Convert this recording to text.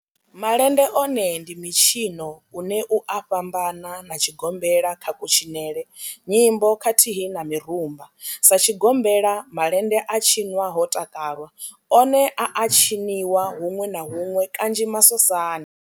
Malende one ndi mitshino une u a fhambana na tshigombela kha kutshinele, nyimbo khathihi na mirumba. Sa tshigombela, malende a tshinwa ho takalwa, one a a tshiniwa hunwe na hunwe kanzhi masosani.